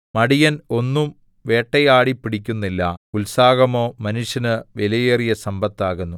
മടിയൻ ഒന്നും വേട്ടയാടിപ്പിടിക്കുന്നില്ല ഉത്സാഹമോ മനുഷ്യന് വിലയേറിയ സമ്പത്താകുന്നു